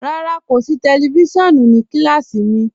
Rárá, kò sí tẹlifísiọ̀nù ní kílásí mí.